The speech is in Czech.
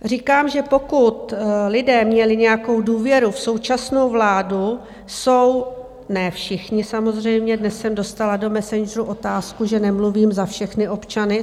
Říkám, že pokud lidé měli nějakou důvěru v současnou vládu, jsou - ne všichni samozřejmě, dnes jsem dostala do messengeru otázku, že nemluvím za všechny občany.